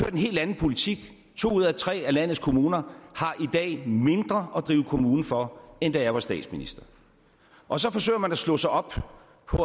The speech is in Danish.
en helt anden politik to ud af tre af landets kommuner har i dag mindre at drive kommune for end da jeg var statsminister og så forsøger man at slå sig op på at